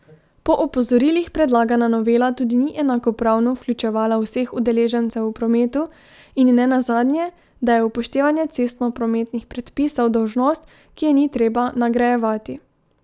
Po opozorilih predlagana novela tudi ni enakopravno vključevala vseh udeležencev v prometu, in nenazadnje, da je upoštevanje cestnoprometnih predpisov dolžnost, ki je ni treba nagrajevati.